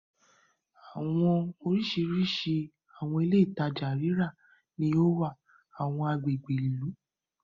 Awọn oriṣiriṣi awọn ilé-itaja rírà ni o wá awọn agbègbè ìlú